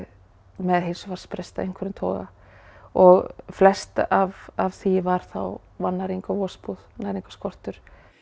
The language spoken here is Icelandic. með heilsufarsbrest af einhverjum toga og flest af af því var þá vannæring og vosbúð og næringarskortur